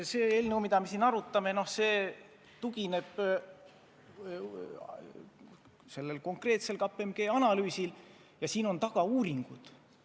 Eelnõu, mida me siin arutame, tugineb konkreetsele KPMG analüüsile, selle taga on uuringud.